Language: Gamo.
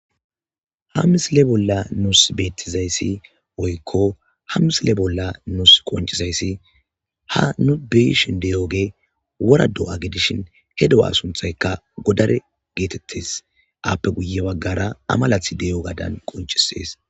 ha misile bolla nuus beettizayssi woykko ha misile bolla nus qoncisayssi ha nu beyishin deyooge wora do7a gedishin he do7a sunthayka godare geetettes aappe guye baggara amalath deyo gadan qoncisees